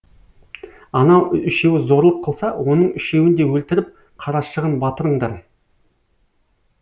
анау үшеуі зорлық қылса оның үшеуін де өлтіріп қарашығын батырыңдар